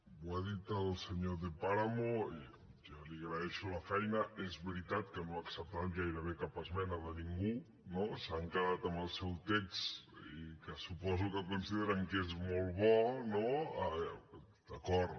ho ha dit el senyor de páramo i jo li agraeixo la feina és veritat que no ha acceptat gairebé cap esmena de ningú no s’han quedat amb el seu text que suposo que consideren que és molt bo no d’acord